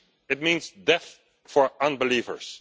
It means death for unbelievers.